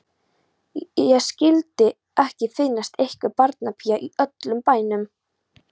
Skyldi ekki finnast einhver barnapía í öllum bænum.